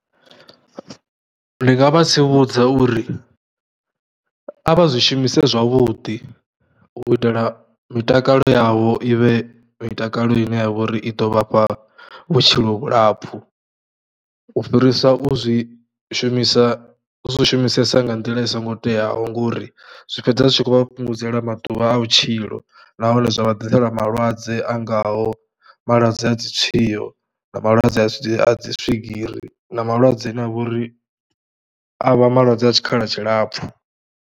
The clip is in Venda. Ndi nga vha tsivhudza uri a vha zwi shumise zwavhuḓi u itela mitakalo yavho i vhe mitakalo ine ya vha uri i ḓo vhafha vhutshilo vhulapfhu u fhirisa u zwi shumisa, u zwi shumisesa nga nḓila i songo teaho ngori zwi fhedza zwi tshi khou vha fhungudzela maḓuvha a vhutshilo nahone zwa vha ḓisela malwadze a ngaho malwadze a dzi tshwiwo na malwadze a dzi a dzi swigiri na malwadze ane a vha uri a vha malwadze a tshikhala tshilapfhu.